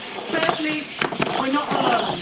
Thirdly, we are not alone.